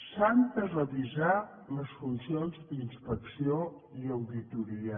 s’han de revisar les funcions d’inspecció i auditoria